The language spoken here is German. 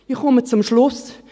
Ich komme zum Schluss: